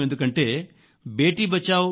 ఎందుకంటే బేటీ బచావో